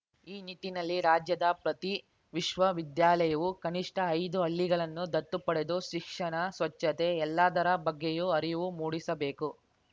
ಈ ನಿಟ್ಟಿನಲ್ಲಿ ರಾಜ್ಯದ ಪ್ರತಿ ವಿಶ್ವವಿದ್ಯಾಲಯವು ಕನಿಷ್ಠ ಐದು ಹಳ್ಳಿಗಳನ್ನು ದತ್ತು ಪಡೆದು ಶಿಕ್ಷಣ ಸ್ವಚ್ಛತೆ ಎಲ್ಲದರ ಬಗ್ಗೆಯೂ ಅರಿವು ಮೂಡಿಸಬೇಕು